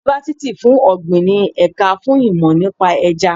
Yunifásítì fún ọ̀gbìn ní ẹ̀ka fún ìmò nípa Ẹja.